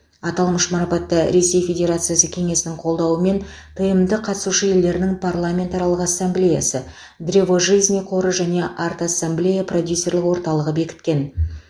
аталмыш марапатты ресей федерациясы кеңесінің қолдауымен тмд қатысушы елдерінің парламентаралық ассамблеясы древо жизни қоры және арт ассамблея продюсерлік орталығы бекіткен